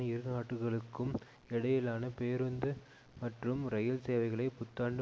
இருநாடுகளுக்கும் இடையிலான பேருந்து மற்றும் இரயில் சேவைகளை புத்தாண்டு